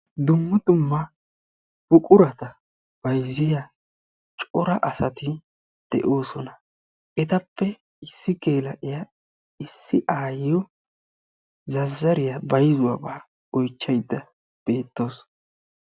Dumma dumma buquratta bayzziya asatti de'osonma. Ettappe issi geela'iya issi aayiyo zazzariya oychchawussu.